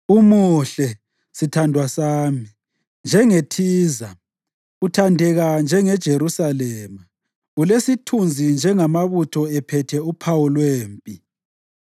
Umuhle, sithandwa sami, njengeThiza, uthandeka njengeJerusalema, ulesithunzi njengamabutho ephethe uphawu lwempi.